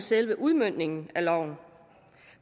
selve udmøntningen af loven